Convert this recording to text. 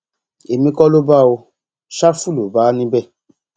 èmi kọ ló bá ọ ṣáfù ló bá níbẹ